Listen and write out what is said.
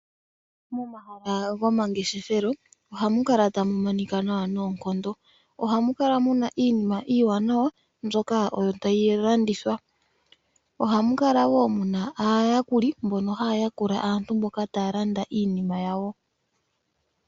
Momahala gomangeshefelo ohamu kala , ta mu monika nawa noonkondo. Ohamu kala mu na iinima iiwanawa mbyoka tayi landithwa. Ohamu kala wo mu na aayakuli , mbono haya yakula aantu mboka taya landa iinima yawo.